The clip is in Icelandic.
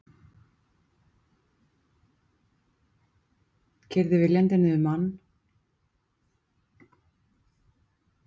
Keyrði viljandi niður mann